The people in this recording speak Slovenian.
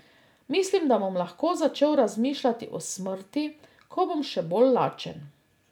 Mislim, da bom lahko začel razmišljati o smrti, ko bom še bolj lačen.